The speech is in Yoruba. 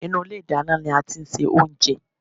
Inú ilé ìdáná ní a tí ń ṣe oúnjẹ.